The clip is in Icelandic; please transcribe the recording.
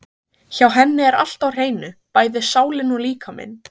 Hjá henni er allt á hreinu, bæði sálin og líkaminn.